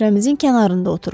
Süfrəmizin kənarında oturur.